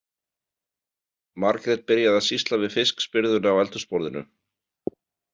Margrét byrjaði að sýsla við fiskspyrðuna á eldhúsborðinu.